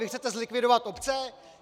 Vy chcete zlikvidovat obce?